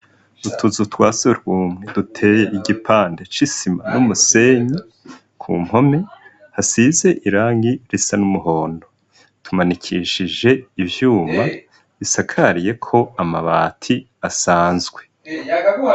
Utuzu twa sugumwe duteye igipande c'isima n'umusenyi, ku mpome hasize irangi risa n'umuhondo, tumanikishije ivyuma bisakayeko amabati asanzwe.